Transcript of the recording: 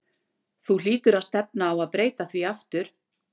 Þú hlýtur á að stefna á að breyta því aftur?